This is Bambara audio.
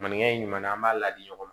Maninka in ɲuman na an b'a ladi ɲɔgɔn ma